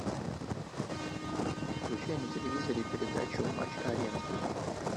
включай на телевизоре передачу матч арена